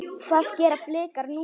Hvað gera Blikar núna?